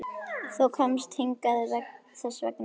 Þú komst hingað þess vegna.